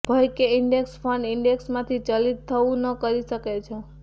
ભય કે index fund index માંથી ચલિત થવું ન કરી શકે છે